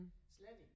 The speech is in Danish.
Slet ikke